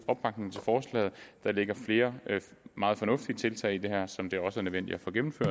opbakning til forslaget der ligger flere meget fornuftige tiltag i det her som det også er nødvendigt